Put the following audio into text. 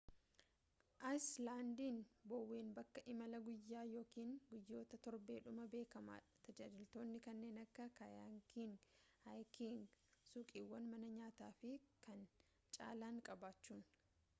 ayiislandiin boween bakka imalaa guyyaa yookiin guyyoota torbee dhumaa beekamaa dha tajaajiloota kanneen akka kayaking haayiking suuqiiwwaani mana nyaata fi kan caalan qabachuun